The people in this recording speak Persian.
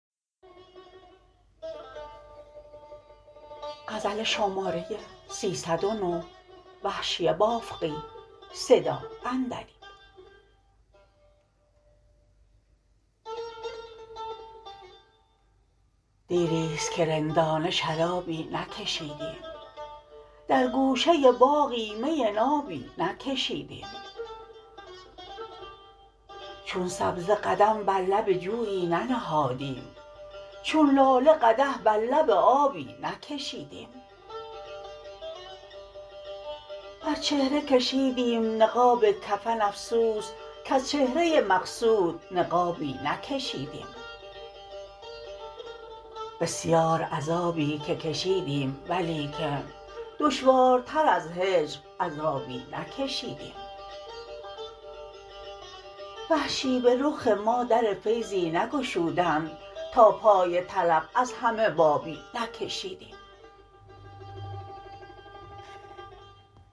دیریست که رندانه شرابی نکشیدیم در گوشه باغی می نابی نکشیدیم چون سبزه قدم بر لب جویی ننهادیم چون لاله قدح بر لب آبی نکشیدیم بر چهره کشیدیم نقاب کفن افسوس کز چهره مقصود نقابی نکشیدیم بسیار عذابی که کشیدیم ولیکن دشوارتر از هجر عذابی نکشیدیم وحشی به رخ ما در فیضی نگشودند تا پای طلب از همه بابی نکشیدیم